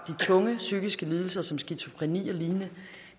tunge psykiske lidelser som skizofreni og lignende